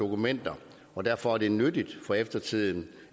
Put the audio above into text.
dokumenter og derfor er det nyttigt for eftertiden